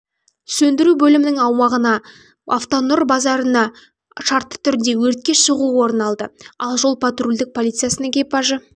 сөндіру бөлімінің аумағынан автонұр базарына шартты түрде өртке шығу орын алды ал жол-патрульдік полициясының экипажы